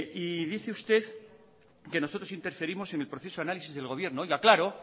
y dice usted que nosotros interferimos en el proceso de análisis del gobierno claro